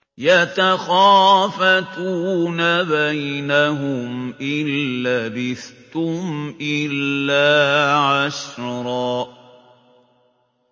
يَتَخَافَتُونَ بَيْنَهُمْ إِن لَّبِثْتُمْ إِلَّا عَشْرًا